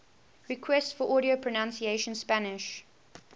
requests for audio pronunciation spanish